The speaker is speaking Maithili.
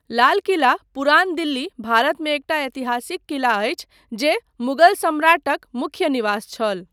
लाल किला पुरान दिल्ली, भारतमे एकटा ऐतिहासिक किला अछि जे मुगल सम्राटक मुख्य निवास छल।